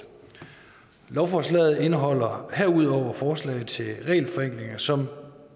lovforslaget indeholder herudover forslag til regelforenklinger som